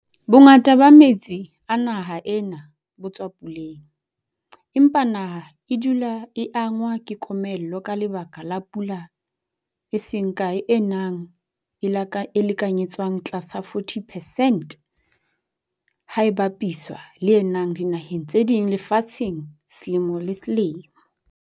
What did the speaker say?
Bongata ba metsi a naha ena bo tswa puleng, empa naha e dula e angwa ke komello ka lebaka la pula e seng kae e nang e lekanyetswang tlasa 40 percent ha e bapiswa le e nang dinaheng tse ding lefatsheng selemo le selemo.